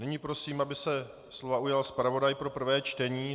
Nyní prosím, aby se slova ujal zpravodaj pro prvé čtení.